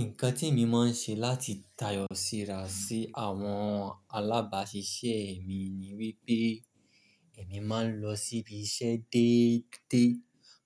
Nǹkan témi máa n ṣe láti tayọ síra sí àwọn alábàáṣiṣẹ́ mi ni wípé èmi máa ń lọ síbi iṣẹ́ déédéé,